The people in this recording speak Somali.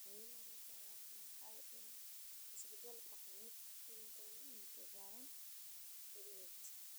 Madaxweyne Ruto ayaa ballan qaaday inuu isbedel dhaqaale ku keeni doono muddo gaaban gudaheed.